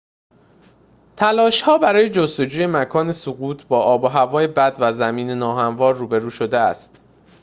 تلاش‌ها برای جستجوی مکان سقوط با آب و هوای بد و زمین ناهموار روبرو شده است